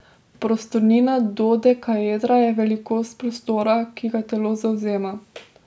Prostornina dodekaedra je velikost prostora, ki ga telo zavzema.